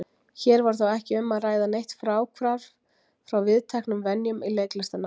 Hér var þó ekki um að ræða neitt fráhvarf frá viðteknum venjum í leiklistarnámi.